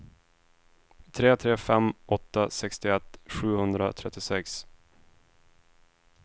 tre tre fem åtta sextioett sjuhundratrettiosex